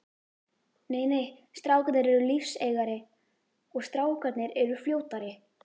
Nei nei, strákarnir eru lífseigari og strákarnir eru fljótari.